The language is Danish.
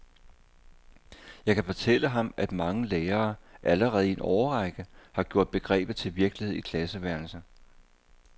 Jeg kan fortælle ham, at mange lærere allerede i en årrække har gjort begrebet til virkelighed i klasseværelset.